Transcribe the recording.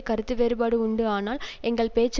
கருத்து வேறுபாடு உண்டு ஆனால் எங்கள் பேச்சு